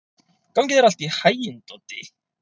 Gangi þér allt í haginn, Doddi.